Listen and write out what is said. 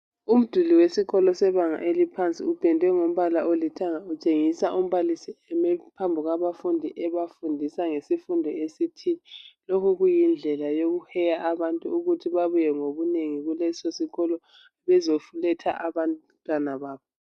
Umduli wesikolo sebanga eliphansi upendwe ngompala olithanga utshengisa umbalisi emi phambi kwabafundi ebafundisa ngesifundo esithile lokhu kuyindlela yokuheya abantu ukuthi babuye ngobunengi esikolo bezoletha abantwana babo